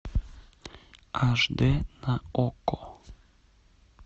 аш дэ на окко